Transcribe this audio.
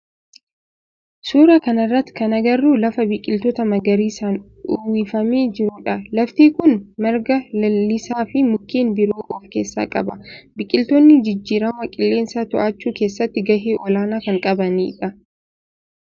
Suuraa kana irratti kan agarru lafa biqiltoota magariisaan uwwifamee jirudha. Laftii kun marga lalisaa fi mukkeen biroo of keessaa qaba. Biqiltoonni jijjiirama qilleensaa to'achuu keessatti gahee olaanaa kan qabani dha